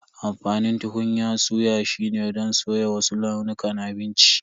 Amfanin tukunyan suya shine don soya wasu launukan abinci.